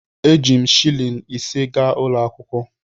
Eji m shịlịn ise gaa ụlọ akwụkwọ.